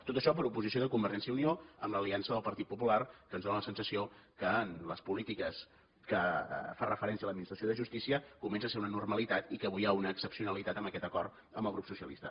tot això per oposició de convergència i unió amb l’aliança del partit popular que ens dóna la sensació que en les polítiques que fan referència a l’administració de justícia comença a ser una normalitat i que avui hi ha una excepcionalitat en aquest acord amb el grup socialista